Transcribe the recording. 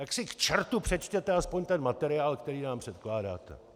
Tak si k čertu přečtěte aspoň ten materiál, který nám předkládáte!